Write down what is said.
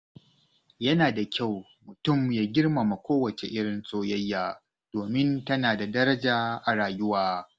Yana da kyau mutum ya girmama kowace irin soyayya, domin tana da daraja a rayuwa.